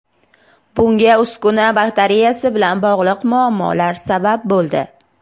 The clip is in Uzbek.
Bunga uskuna batareyasi bilan bog‘liq muammolar sabab bo‘ldi.